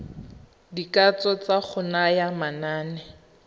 dikatso tsa go naya manane